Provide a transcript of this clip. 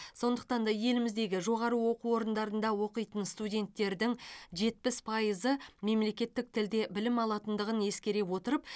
сондықтан да еліміздігі жоғары оқу орындарында оқитын студенттердің жетпіс пайызы мемлекеттік тілде білім алатындығын ескере отырып